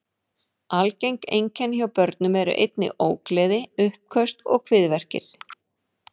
Algeng einkenni hjá börnum eru einnig ógleði, uppköst og kviðverkir.